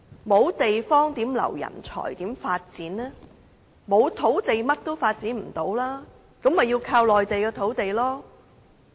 沒有土地，便甚麼也不能發展了，那麼便要依靠內地的土地了。